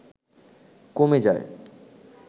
কমে যায়